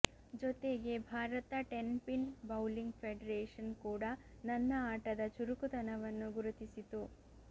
ಜೊತೆಗೆ Bharat ten pin bowling federation ಕೂಡಾ ನನ್ನ ಆಟದ ಚುರುಕುತನವನ್ನು ಗುರುತಿಸಿತು